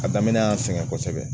A daminɛ y'an sɛgɛn kosɛbɛ